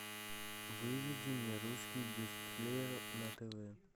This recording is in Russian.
выведи мне русский бестселлер на тв